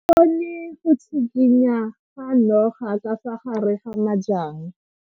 O bone go tshikinya ga noga ka fa gare ga majang.